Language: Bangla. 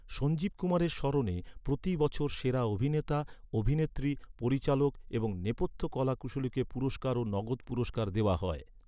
সঞ্জীব কুমারের স্মরণে প্রতি বছর সেরা অভিনেতা, অভিনেত্রী, পরিচালক এবং নেপথ্য কলাকুশলীকে পুরস্কার ও নগদ পুরস্কার দেওয়া হয়।